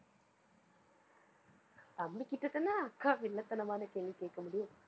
தம்பிகிட்டேதானே அக்கா வில்லத்தனமான கேள்வி கேட்க முடியும்.